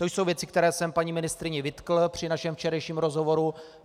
To jsou věci, které jsem paní ministryni vytkl při našem včerejším rozhovoru.